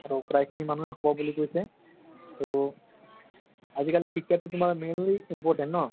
আৰু প্ৰাই খিনি মানুহে হব বুলি কৈছে। ত আজিকালি শিক্ষাটো তুমাৰ mainly important ন